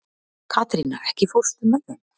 Katrína, ekki fórstu með þeim?